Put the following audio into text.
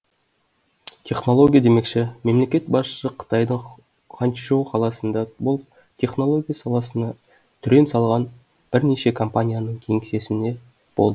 технология демекші мемлекет басшысы қытайдың ханчжоу қаласында болып технология саласына түрен салған бірнеше компанияның кеңсесінде болды